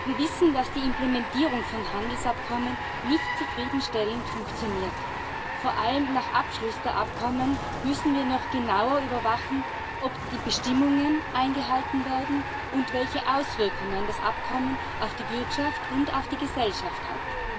Wir wissen, dass die Implementierung von Handelsabkommen nicht zufriedenstellend funktioniert. Vor allem nach Abschluss der Abkommen müssen wir noch genauer überwachen, ob die Bestimmungen eingehalten werden und welche Auswirkungen das jeweilige Abkommen auf die Wirtschaft und auf die Gesellschaft hat.